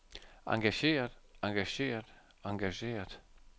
engageret engageret engageret